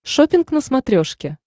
шоппинг на смотрешке